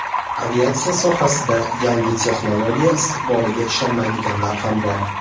Aviatsiya sohasida yangi texnologiya istiqboliga ishonmaydiganlar ham bor.